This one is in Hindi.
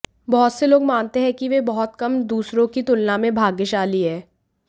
बहुत से लोग मानते हैं कि वे बहुत कम दूसरों की तुलना में भाग्यशाली है